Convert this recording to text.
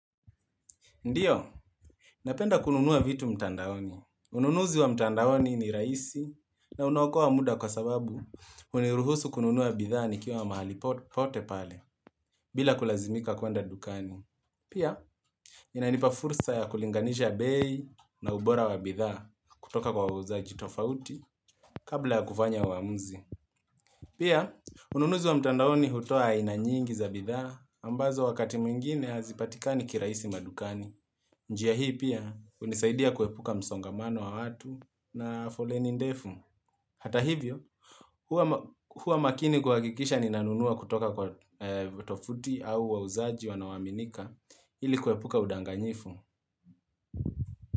Ndio, napenda kununua vitu mtandaoni. Ununuzi wa mtandaoni ni rahisi na unaokoa muda kwa sababu huniruhusu kununua bidhaa nikiwa mahali popote pale bila kulazimika kuenda dukani. Pia, inanipa fursa ya kulinganisha bei na ubora wa bidhaa kutoka kwa wauzaji tofauti kabla ya kufanya uamuzi. Pia, ununuzi wa mtandaoni hutoa aina nyingi za bidhaa ambazo wakati mwingine hazipatikani kirahisi madukani. Njia hii pia, hunisaidia kuepuka msongamano wa watu na foleni ndefu. Hata hivyo, huwa makini kuhakikisha ninanunua kutoka kwa tovuti au wauzaji wanaoaminika ili kuepuka udanganyifu.